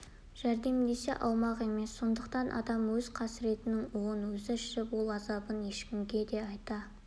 жәрдемдесе алмақ емес сондықтан адам өз қасіретінің уын өзі ішіп ол азабын ешкімге де айта